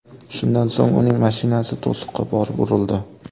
Shundan so‘ng, uning mashinasi to‘siqqa borib urildi.